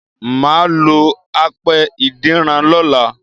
Mà á lo apẹ ìdínran lọ́la